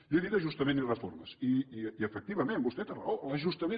jo he dit ajustament i reformes i efectivament vostè té raó l’ajustament